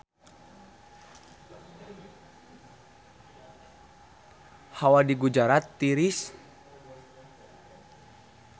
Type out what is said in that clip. Hawa di Gujarat tiris